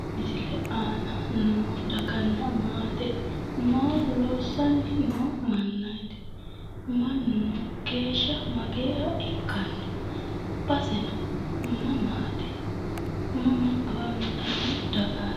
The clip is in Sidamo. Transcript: Misilete aana noo daganna maate maa loossanni noo mannaati? Mannino geeshsha Mageeha ikkanno baseno mamaati? Mama afantanno dargaati?